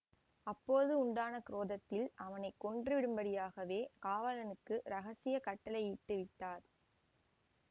அப்போது உண்டான குரோதத்தில் அவனை கொன்று விடும்படியாகவே காவலனுக்கு இரகசிய கட்டளையிட்டு விட்டார்